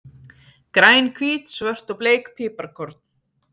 Græn, hvít, svört og bleik piparkorn.